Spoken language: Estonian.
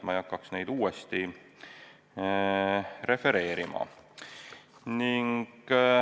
Ma ei hakkaks neid uuesti refereerima.